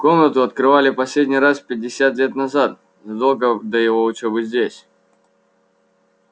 комнату открывали последний раз пятьдесят лет назад задолго до его учёбы здесь